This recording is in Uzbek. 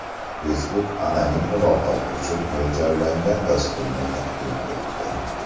Facebook anonim muloqot uchun mo‘ljallangan dasturni taqdim etdi.